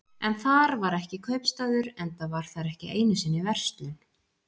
En þar var ekki kaupstaður, enda var þar ekki einu sinni verslun.